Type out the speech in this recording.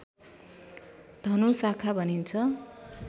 धनु शाखा भनिन्छ